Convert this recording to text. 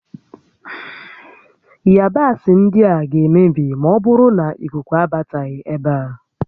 Ịyabasị ndịa ga-emebi maọbụrụ nà ikuku abataghị ébé a